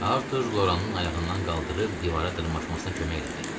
Artur Loranın ayağından qaldırıb divara dırmanmasına kömək elədi.